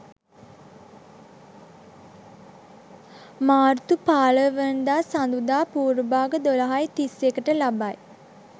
මාර්තු 15 වනදා සඳුදා පූර්ව භාග 12.31 ට ලබයි.